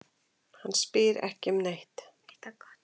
Hann spyr ekki um neitt.